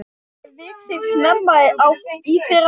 Ég vek þig snemma í fyrramálið.